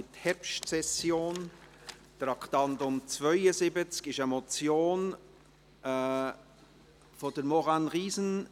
Beim Traktandum 72 handelt es sich um eine Motion von Maurane Riesen.